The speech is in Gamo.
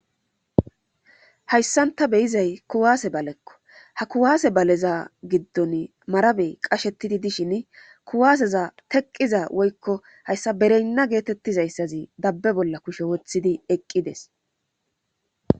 hayssanta be'izay kuwaase balekko ha kuwaase baleza giddon marabey qashetidi dishin kuwaaseza teqqiza woykko hayssa bereynna geetettizayssazi dabbe bolla kushe woththidi eqqides